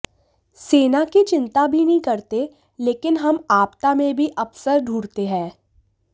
सेना की चिंता भी नहीं करते लेकिन हम आपदा में भी अवसर ढूंढते हैं